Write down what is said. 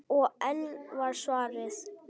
Og enn var svarað: